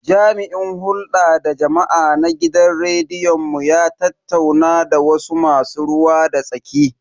Jami'in hulda da jama'a na gidan rediyon mu ya tattauna da wasu masu ruwa da tsaki.